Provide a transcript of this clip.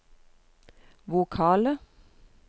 vokale